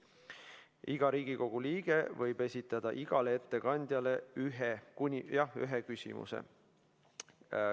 Iga Riigikogu liige võib esitada igale ettekandjale ühe küsimuse.